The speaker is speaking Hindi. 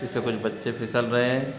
इसपे कुछ बच्चे फिसल रहे--